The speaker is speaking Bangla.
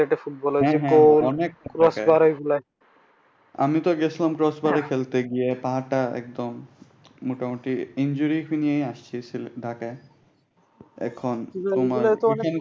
হ্যা হ্যা অনেক আমিতো গেছিলাম কর্সবারে খেলতে গিয়ে পা টা একবারে মোটামুটি injury নিয়াই আসছি ঢাকায়। এখন তোমার